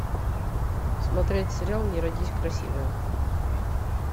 смотреть сериал не родись красивая